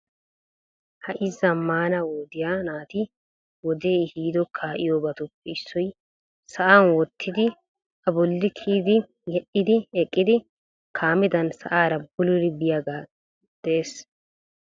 Ha'i zammana wodiyaa naati wode ehido kaa'iyoobatuppe issoy sa'a wottidi a bolli kiyyidi yedhdhi eqqidi kaamedan sa'aara bulullidi biyaaga de'ees.